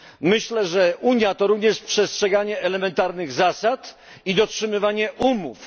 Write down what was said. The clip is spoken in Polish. Myślę, że Unia to również przestrzeganie elementarnych zasad i dotrzymywanie umów.